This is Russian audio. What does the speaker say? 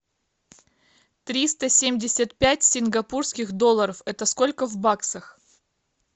триста семьдесят пять сингапурских долларов это сколько в баксах